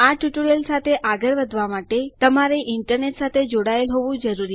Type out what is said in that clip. આ ટ્યુટોરીયલ સાથે આગળ વધવા માટે તમારે ઇન્ટરનેટ સાથે જોડાયેલ હોવું જરૂરી છે